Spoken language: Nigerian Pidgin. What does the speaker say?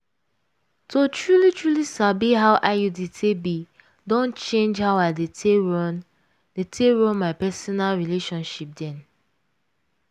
to truly-truly sabi how iud take be don change how i dey take run dey take run my personal relationship dem.